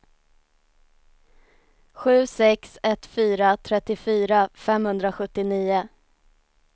sju sex ett fyra trettiofyra femhundrasjuttionio